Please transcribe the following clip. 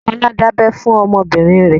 Kọ́lá dábẹ fún ọmọ bìnrin rẹ.